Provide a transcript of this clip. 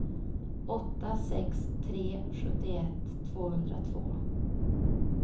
åtta sex tre tre sjuttioett tvåhundratvå